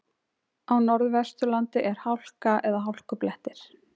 Á Norðvesturlandi er hálka eða hálkublettir